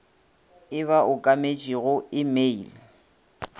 e ba okametšego e mail